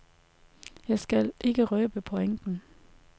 Jeg skal ikke røbe pointen.